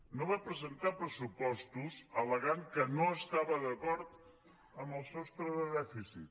no va presentar pressupostos al·legant que no estava d’acord amb el sostre de dèficit